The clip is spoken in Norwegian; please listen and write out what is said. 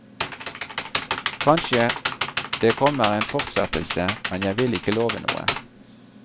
Kanskje det kommer en fortsettelse, men jeg vil ikke love noe.